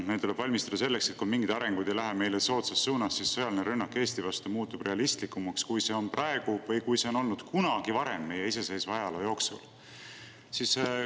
Meil tuleb valmistuda selleks, et kui mingid arengud ei lähe meile soodsas suunas, siis sõjaline rünnak Eesti vastu muutub realistlikumaks, kui see on praegu või kui see on olnud kunagi varem meie iseseisva ajaloo jooksul.